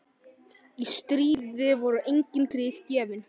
Í stríði voru engin grið gefin.